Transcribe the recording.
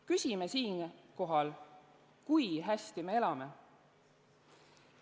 Küsime siinkohal, kui hästi me elame.